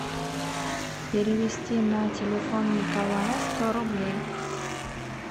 перевести на телефон николая сто рублей